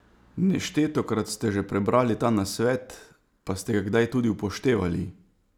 Neštetokrat ste že prebrali ta nasvet, pa ste ga kdaj tudi upoštevali?